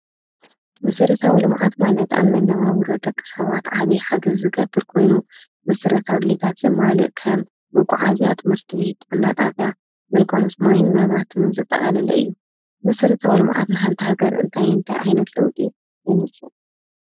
መሰረታዊ ልምዓት ማለት ኣብ መነባብሮ ደቂ ሰባት ዓብይ ሓገዝ ዝገብር ኮይኑ መሰረታዊ ድሌታት ዘማልእ ከም መጓዓዝያ ትምህርቲ ቤት ጥዕና ጣብያ ግልጋሎት ማይን መብራህትን ዘጠቓለለ እዩ። መሰረታዊ ልምዓት ንሓንቲ ሃገር እንታይ እንታይ ዓይነት ለውጢ ይምፅእ?